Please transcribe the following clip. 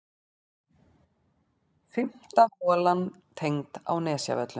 Fimmta holan tengd á Nesjavöllum.